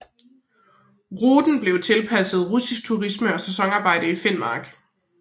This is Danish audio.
Ruten blev tilpasset russisk turisme og sæsonarbejde i Finnmark